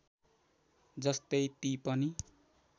जस्तै ती पनि